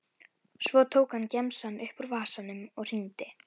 Svo tók hann gemsann upp úr vasanum og hringdi.